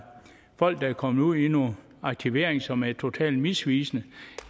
folk der er kommet ud i noget aktivering som er totalt misvisende